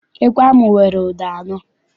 Ekwe ahụ nwere ụda anọ.